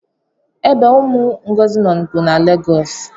ebe umu Ngozi no bu na Legosi